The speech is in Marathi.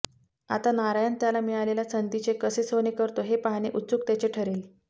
आता नारायण त्याला मिळालेल्या संधीचे कसे सोने करतो हे पाहणे उत्सुकतेचे ठरेल